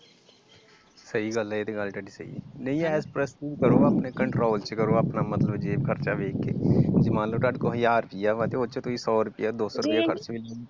ਸਹੀ ਗੱਲ ਆ ਇਹ ਤਾ ਗੱਲ ਤੁਹਾਡੀ ਸਹੀ ਆ ਐਸ਼ ਪ੍ਰਸਤੀ ਕਰੋ ਆਪਣੇ ਕੰਟਰੋਲ ਚ ਕਰੋ ਆਪਣਾ ਮਤਲਬ ਜੇਬ ਖਰਚਾ ਵੇਖ ਕੇ ਜੇ ਮਨਲੋ ਤੁਹਾਡੇ ਕੋਲ ਹਜ਼ਾਰ ਰੁਪਈਆ ਤੇ ਉਦੇ ਵਿੱਚੋ ਤੁਸੀ ਸੋ ਰੁਪਇਆ